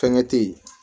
Fɛnkɛ te ye